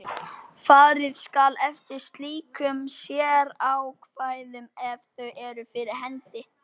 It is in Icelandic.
Farið skal eftir slíkum sérákvæðum ef þau eru fyrir hendi.